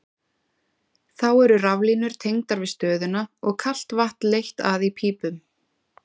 Þá eru raflínur tengdar við stöðina og kalt vatn leitt að í pípum.